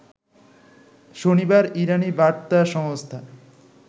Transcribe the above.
শনিবার ইরানি বার্তা সংস্থা